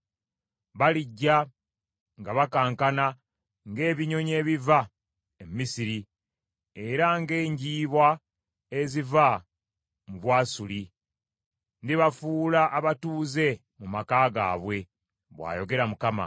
Balijja nga bakankana ng’ebinyonyi ebiva e Misiri, era ng’enjiibwa eziva mu Bwasuli. Ndibafuula abatuuze mu maka gaabwe,” bw’ayogera Mukama .